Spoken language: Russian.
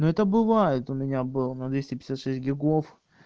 ну это бывает у меня был на двести пятьдесят шесть гигов